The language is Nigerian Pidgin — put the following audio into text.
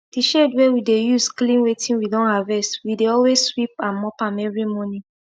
d shed wey we dey use clean wetin we don harvest we dey always sweep and mop am everi morning